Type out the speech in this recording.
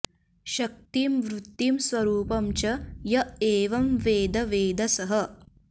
शक्तिं वृत्तिं स्वरूपं च य एवं वेद वेद सः